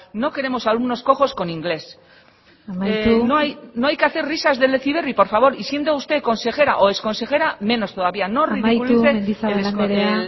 no queremos alumnos cojos con inglés amaitu no hay que hacer risas del heziberri por favor y siendo usted consejera o exconsejera menos todavía no ridiculice amaitu mendizabal andrea